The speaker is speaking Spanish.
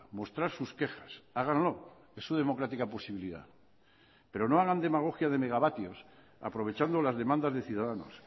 mostrar sus quejas háganlo es su democrática posibilidad pero no hagan demagogia de megavatios aprovechando las demandas de ciudadanos